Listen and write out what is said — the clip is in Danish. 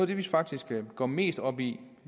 det vi faktisk går mest op i